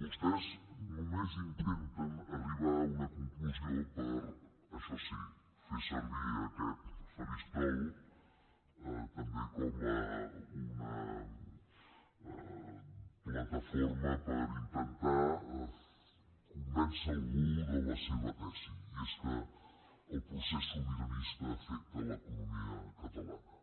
no vostès només intenten arribar a una conclusió per això sí fer servir aquest faristol també com una plataforma per intentar convèncer algú de la seva tesi i és que el procés sobiranista afecta l’economia catalana